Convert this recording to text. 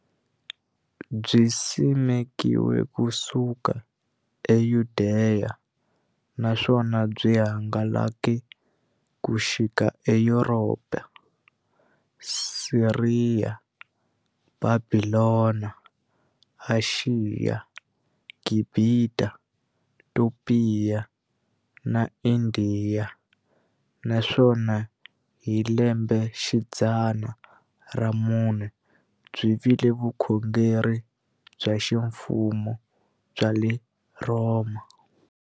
Byisimekiwe ku suka eYudeya, naswona byi hangalake ku xika eYuropa, Siriya, Bhabhilona, Ashiya, Gibhita, Topiya na Indiya, naswona hi lembexidzana ra vumune byi vile vukhongeri bya ximfumo bya le Rhoma.